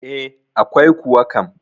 E, akwai kuwa kam.